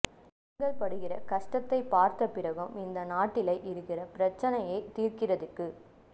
நீங்கள் படுகிற கஷ்டத்தைப்பார்த்த பிறகும் இந்த நாட்டிலை இருக்கிற பிரச்சினையைத் தீர்க்கிறதுக்கு